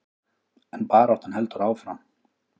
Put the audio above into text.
En baráttan heldur áfram.